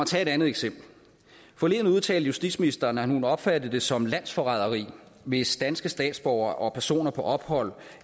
tage et andet eksempel forleden udtalte justitsministeren at hun opfatter det som landsforræderi hvis danske statsborgere og personer på ophold